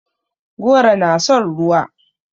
Goro na son ruwa.